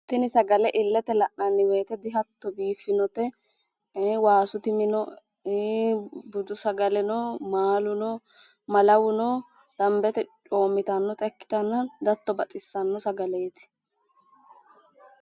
Tini sagale illete la'nanni woyite dihatto biiffinote. waasu timi no, budu sagale no, maalu no, malawu no, dambete coommitannota ikkitanna dihatto baxissanno sagaleeti.